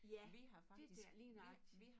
Ja det dér lige nøjagtigt